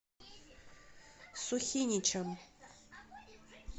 сухиничам